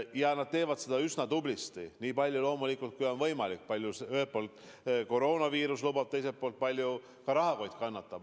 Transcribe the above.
Ja nad teevad seda üsna tublisti, nii palju loomulikult, kui on võimalik – kui palju ühelt poolt koroonaviirus lubab, teiselt poolt ka, kui palju rahakott kannatab.